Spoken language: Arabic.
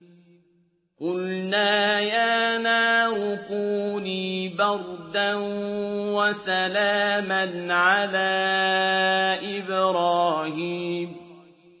قُلْنَا يَا نَارُ كُونِي بَرْدًا وَسَلَامًا عَلَىٰ إِبْرَاهِيمَ